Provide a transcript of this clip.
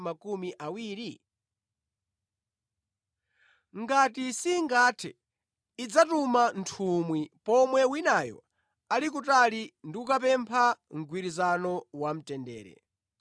Ngati singathe, idzatuma nthumwi pomwe winayo ali kutali ndi kukapempha mgwirizano wamtendere.